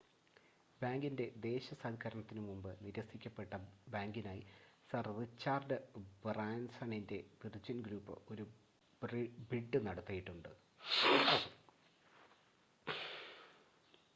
ബാങ്കിൻ്റെ ദേശസാൽക്കരണത്തിന് മുമ്പ് നിരസിക്കപ്പെട്ട ബാങ്കിനായി സർ റിച്ചാർഡ് ബ്രാൻസണിൻ്റെ വിർജിൻ ഗ്രൂപ്പ് ഒരു ബിഡ് നടത്തിയിട്ടുണ്ട്